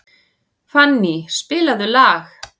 Fanny, spilaðu lag.